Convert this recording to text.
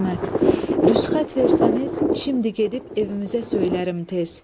Rüsxət versəniz, şimdi gedib evimizə söylərim tez.